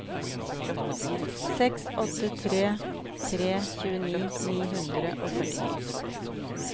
seks åtte tre tre tjueni ni hundre og førtini